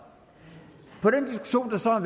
så har